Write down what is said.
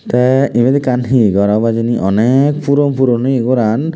tay ebet ekkan he gor obow hejani onake puron puron oye goran.